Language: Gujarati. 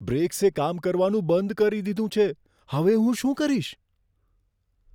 બ્રેક્સે કામ કરવાનું બંધ કરી દીધું છે. હવે હું શું કરીશ?